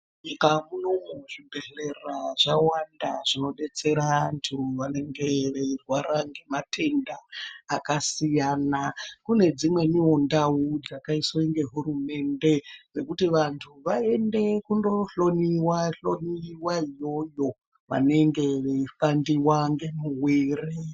Munyika munomu zvibhedhlera zvawanda zvinodetsera antu vanenge veirwara ngematenda akasiyana. Kune dzimweniwo ndau dzakaiswe ngehurumende, dzekuti vantu vaende kundokohloiwa hloiwa iyoyo, vanenge veipandiwa ngemuwiiri.